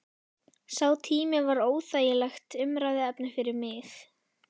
Sá tími var óþægilegt umræðuefni fyrir mig.